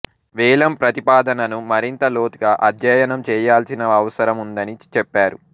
వేలం ప్రతిపాదనను మరింత లోతుగా అధ్యయనం చేయాల్సిన అవసరం ఉందని చెప్పారు